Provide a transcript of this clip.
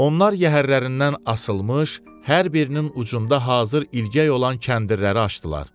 Onlar yəhərlərindən asılmış hər birinin ucunda hazır ilgək olan kəndirləri açdılar.